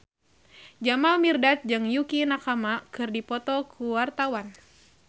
Jamal Mirdad jeung Yukie Nakama keur dipoto ku wartawan